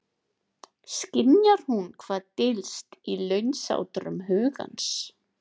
Skynjar hún hvað dylst í launsátrum hugans?